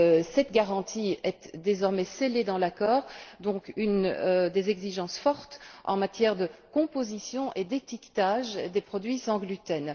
Cette garantie est désormais scellée dans l'accord, avec des exigences fortes en matière de composition et d'étiquetage des produits sans gluten.